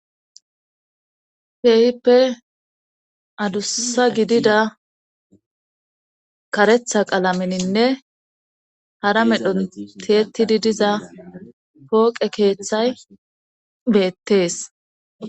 Keehippe adussa gidida karetha qalamininne hara medhon teetidi diza pooqe keeththay beettees.